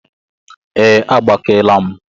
Ee, agbakeela m